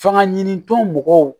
Fanga ɲinitɔ mɔgɔw